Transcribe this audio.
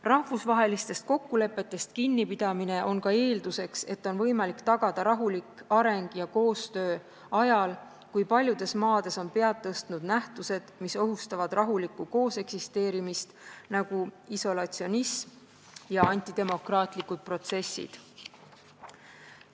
Rahvusvahelistest kokkulepetest kinnipidamine on ka eelduseks, et on võimalik tagada rahulik areng ja koostöö ajal, kui paljudes maades on pead tõstnud nähtused, mis ohustavad rahulikku kooseksisteerimist, nagu isolatsionism ja antidemokraatlikud protsessid.